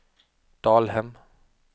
Dalhem